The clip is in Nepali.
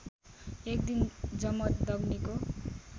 एक दिन जमदग्नीको